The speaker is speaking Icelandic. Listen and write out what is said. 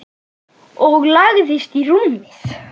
Og lagðist í rúmið.